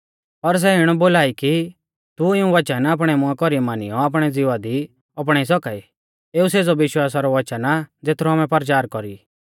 पर सै इणौ बोला आ कि तू इऊं वचन आपणै मुंआ कौरी मानियौ आपणै ज़िवा दी अपणाई सौका ई एऊ सेज़ौ विश्वासा रौ वचन आ ज़ेथरौ आमै परचार कौरी ई